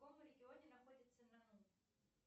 в каком регионе находится нану